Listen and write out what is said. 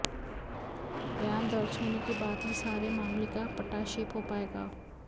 बयान दर्ज होने के बाद ही सारे मामले का पटाक्षेप हो पाएगा